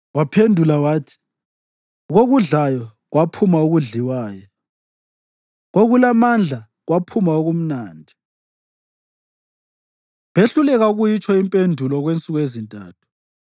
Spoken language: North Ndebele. Waphendula wathi, “Kokudlayo, kwaphuma okudliwayo; kokulamandla kwaphuma okumnandi.” Behluleka ukuyitsho impendulo okwensuku ezintathu.